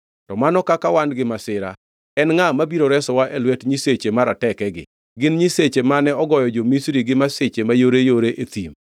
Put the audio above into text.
To mano kaka wan gi masira! En ngʼa mabiro resowa e lwet nyiseche maratekegi? Gin nyiseche mane ogoyo jo-Misri gi masiche mayoreyore e thim.